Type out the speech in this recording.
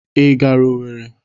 i gara Owerri?